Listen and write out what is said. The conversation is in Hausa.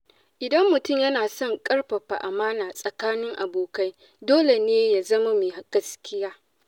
Idan mutum yana son a ƙarfafa amãna tsakanin abokai, dole ne ya zama mai gaskiya.